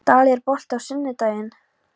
Dalí, er bolti á sunnudaginn?